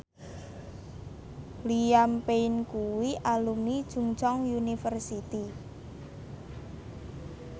Liam Payne kuwi alumni Chungceong University